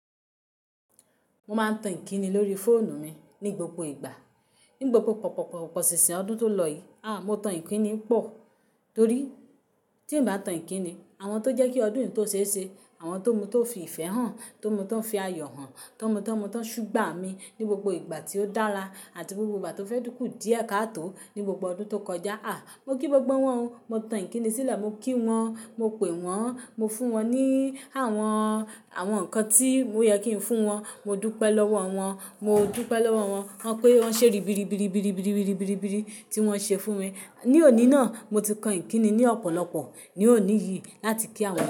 Mo máa ń tan Ìkíni lórí fóònù mi ní gbogbo ìgbà. Ní gbogbo pọ̀pọ̀pọ̀pọ̀ sìnsin ọdún tó lọ yìí, aà! Mo tan Ìkíni pọ̀. Torí tí ń bá tan Ìkíni, àwọn tó jẹ́ kí ọdún yìí tó ṣe ese, àwọn tó mú tó fi ìfẹ́ hàn, tó mú ti won fi ayọ̀ hàn, tó mú tó mú tó sugba mi ní gbogbo ìgbà tí ó dára àti gbogbo ìgbà tó fẹ́ tún kú díẹ̀ káàtò ní gbogbo ọdún tó kọjá, aà! Mo kí gbogbo wọ́n o. Mo tan Ìkíni sílẹ̀, mo kí wọ́n, mo pè wọ́n, mo fún wọn ní àwọn, àwọn nǹkan tí ó yẹ kí n fún wọn. Mo dúpẹ́ lọ́wọ́ wọn, mo dúpẹ́ lọ́wọ́ wọn, wọ́n pé wọ́n ṣe ribiribiribiribiribiribiribiri tí wọ́n ṣe fún mi. Ní òní náà, mo ti kan Ìkíni ní ọ̀pọ̀lọpọ̀ ní òní yìí láti kí àwọn.